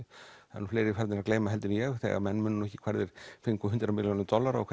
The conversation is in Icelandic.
það eru fleiri farnir að gleyma heldur en ég þegar menn muna ekki hvar þeir fengu hundrað milljónir dollara og